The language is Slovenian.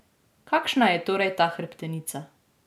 Kakšna je torej ta hrbtenica?